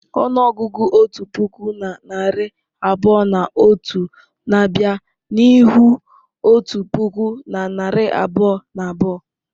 Ọnụọgụgụ otu puku na narị abụọ na otu na-abịa n'ihu otu puku na narị abụọ na abụọ.